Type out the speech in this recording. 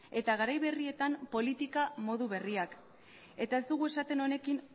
eta garai berrietan politika modu berriak eta ez dugu esaten honekin